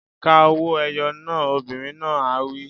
Ka owó-ẹyọ náà! Obìnrin náà á wí.